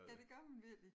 Ja det gør man virkelig